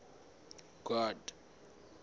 god